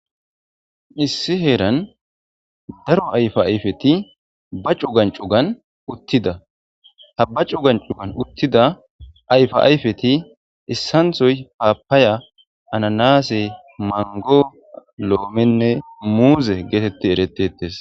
issi heeran daro ayfa ayfeti ba cu gancugan uttida ha ba cu gan cugan uttida ayfa ayfeti issanthoy haappaya ananase mango lo7omenne muuze geetetti erettetes